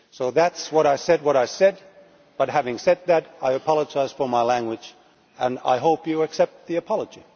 That is why I said what I said but, having said that, I apologise for my language and I hope you accept the apology.